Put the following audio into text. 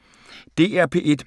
DR P1